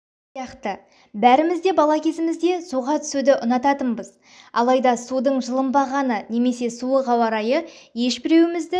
сияқты бәріміз де бала кезімізде суға түсуді ұнататынбыз алайда судын жылынбағаны немесе суық ауа-райы ешбіреуімізді